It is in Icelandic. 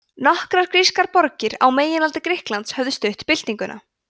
nokkrar grískar borgir á meginlandi grikklands höfðu stutt byltinguna